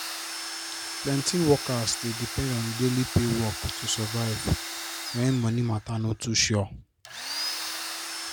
plenty workers dey depend on daily pay work to survive when moni matter no too sure